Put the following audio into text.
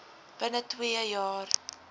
binne twee jaar